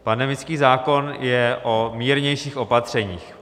Pandemický zákon je o mírnějších opatřeních.